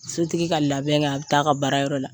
Sotigi ka labɛn kɛ a bi taa ka baara yɔrɔ la.